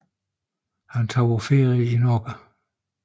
Han tog på ferie i Norge